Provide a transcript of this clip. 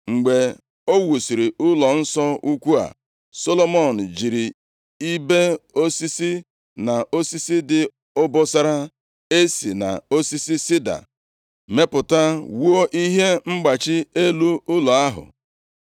Mgbe o wusiri ụlọnsọ ukwu a, Solomọn jiri ibe osisi na osisi dị obosara e si nʼosisi sida mepụta, wuo ihe mgbachị elu ụlọ ahụ.